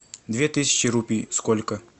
две тысячи рупий сколько